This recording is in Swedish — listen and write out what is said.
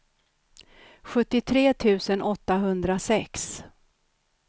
sjuttiotre tusen åttahundrasex